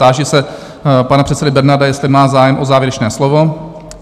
Táži se pana předsedy Bernarda, jestli má zájem o závěrečné slovo?